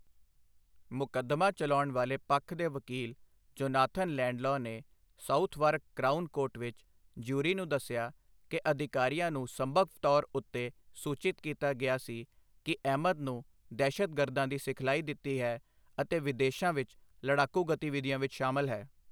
ਮੁਕਦਮਾ ਚਲਾਉਣ ਵਾਲੇ ਪੱਖ ਦੇ ਵਕੀਲ ਜੋਨਾਥਨ ਲੈਡਲਾਅ ਨੇ ਸਾਊਥਵਾਰਕ ਕ੍ਰਾਊਨ ਕੋਰਟ ਵਿੱਚ ਜਿਊਰੀ ਨੂੰ ਦੱਸਿਆ ਕਿ ਅਧਿਕਾਰੀਆਂ ਨੂੰ ਸੰਭਵ ਤੌਰ ਉੱਤੇ ਸੂਚਿਤ ਕੀਤਾ ਗਿਆ ਸੀ ਕਿ ਅਹਿਮਦ ਨੂੰ ਦਹਿਸ਼ਤਗਰਦਾਂ ਦੀ ਸਿਖਲਾਈ ਦਿੱਤੀ ਹੈ ਅਤੇ ਵਿਦੇਸ਼ਾਂ ਵਿੱਚ ਲੜਾਕੂ ਗਤੀਵਿਧੀਆਂ ਵਿੱਚ ਸ਼ਾਮਲ ਹੈ।